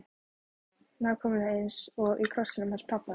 Nákvæmlega eins efni og í krossinum hans pabba!